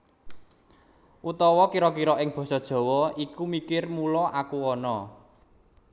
Utawa kira kira ing Basa Jawa Aku mikir mula aku ana